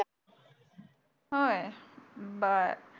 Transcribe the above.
होय बर